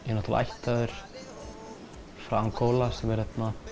ég er ættaður frá Angóla sem er